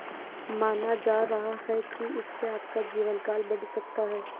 माना जा रहा है कि इससे आपका जीवनकाल बढ़ सकता है